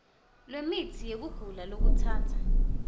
lwemitsi yekugula lokutsatsa